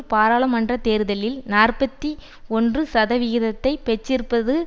பாராளுமன்ற தேர்தலில் நாற்பத்தி ஒன்று சதவிகிதத்தை பெற்றிருந்தபோது